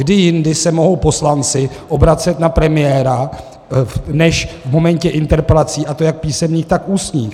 Kdy jindy se mohou poslanci obracet na premiéra než v momentě interpelací, a to jak písemných, tak ústních?